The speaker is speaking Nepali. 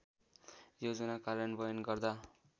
योजना कार्यान्वयन गर्दा